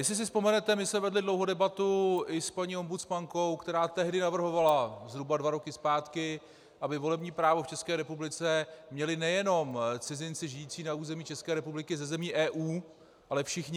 Jestli si vzpomenete, my jsme vedli dlouhou debatu i s paní ombudsmankou, která tehdy navrhovala, zhruba dva roky zpátky, aby volební právo v České republice měli nejenom cizinci žijící na území České republiky ze zemí EU, ale všichni.